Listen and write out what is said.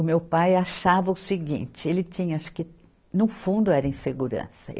O meu pai achava o seguinte, ele tinha, acho que, no fundo, era insegurança.